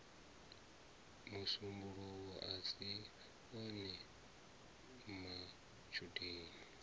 musumbuluwo a si one matshudeni